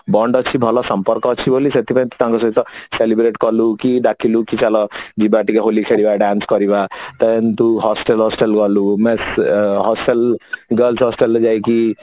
bond ଅଛି ବୋଲି ଭଲ ସମ୍ପର୍କ ଅଛି ବୋଲି ସେଥିପାଇଁ ତୁ ତାଙ୍କ ସହିତ celebrate କଲୁ କି ଡାକିଲୁ କି ଚାଲ ଯିବା ଟିକେ ହୋଲି ଖେଳିବା dance କରିବା ତ ତୁ hostel ଫଷ୍ଟେଲ ଗଲୁ girls hostel ରେ ଯାଇକି